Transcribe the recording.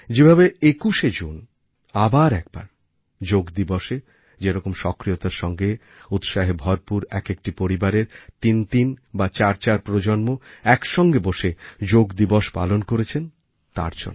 যেভাবে ২১ জুন আবার একবার যোগ দিবসএ যেরকম সক্রিয়তার সঙ্গে উৎসাহে ভরপুর একএকটি পরিবারের তিনতিন বা চারচার প্রজন্ম একসঙ্গে বসে যোগ দিবস পালন করেছেন তার জন্য